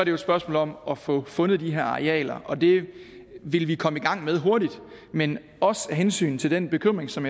jo et spørgsmål om at få fundet de her arealer og det vil vi komme i gang med hurtigt men også af hensyn til den bekymring som